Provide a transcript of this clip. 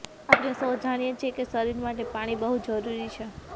આપણે સૌ જાણીએ છીએ કે શરીર માટે પાણી બહુ જરૂરી છે